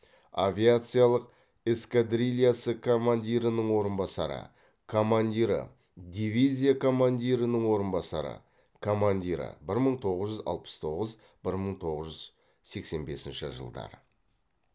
авиациялық эскадрильясы командирінің орынбасары командирі дивизия командирінің орынбасары командирі бір мың тоғыз жүз алпыс тоғыз бір мың тоғыз жүз сексен бесінші жылдары